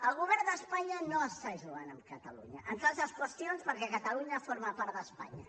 el govern d’espanya no està jugant amb catalunya entre d’altres qüestions perquè catalunya forma part d’espanya